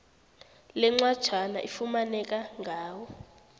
lencwajana ifumaneka ngawo